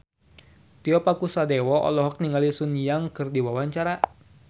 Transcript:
Tio Pakusadewo olohok ningali Sun Yang keur diwawancara